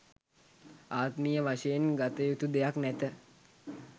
ආත්මීය වශයෙන් ගත යුතු දෙයක් නැත